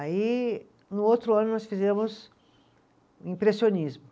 Aí, no outro ano, nós fizemos o impressionismo.